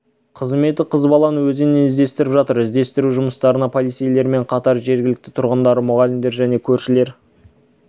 қызметі қыз баланы өзеннен іздестіріп жатыр іздестіру жұмыстарына полицейлермен қатар жергілікті тұрғындар мұғалімдер және көршілері